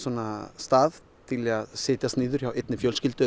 stað til að setjast niður hjá einni fjölskyldu